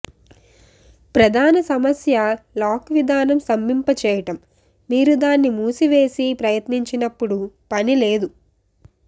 ప్రధాన సమస్య లాక్ విధానం స్తంభింపచేయటం మీరు దాన్ని మూసివేసి ప్రయత్నించినప్పుడు పని లేదు